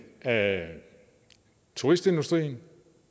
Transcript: af turistindustrien